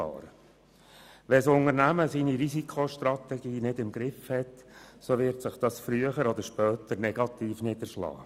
Hat ein Unternehmen seine Risikostrategie nicht im Griff, so wird sich dies früher oder später negativ niederschlagen.